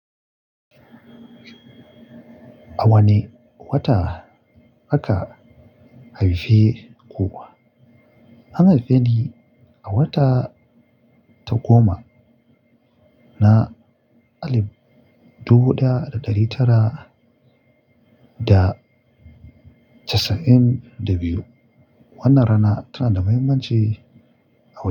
A wane wata aka haife ku? An haife ni a wata-- ta goma na alib dubu ɗaya da ɗari tara da casa'in da biyu. Wannan rana tana da muhimmanci-- a.